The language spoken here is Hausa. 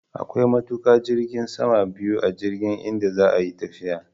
Akwai matuƙa jirgin sama biyu a jirgin idan za a yi tafiya